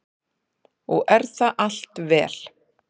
Og er það allt vel.